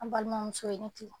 An balimamuso i ni ce,